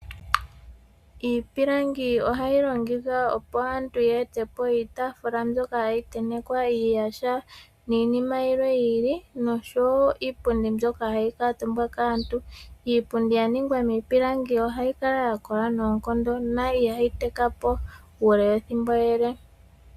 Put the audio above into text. Iipilangi ohayi longithwa opo aantu ya ete po iitaafula mbyoka hayi tentekwa uuyaha niinima yimwe yi ili, nosho woo iipundi mbyoka hayi kuutumbwa kaantu. Iipundi. ya longwa miipilangi ohayi kala ya kola noonkondo na ihayi tekapo mbala.